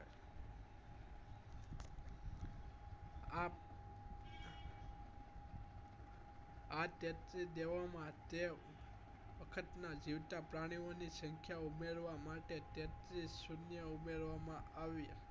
આ તેત્રી દેવો માં તે વખત નાં જીવતા પ્રાણીઓ ની સંખ્યા મેળવવા માટે તેત્રીસ સુણ્યો ઉમેરવા માં આવી